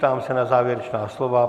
Ptám se na závěrečná slova.